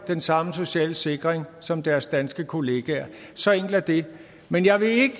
den samme sociale sikring som deres danske kollegaer så enkelt er det men jeg vil ikke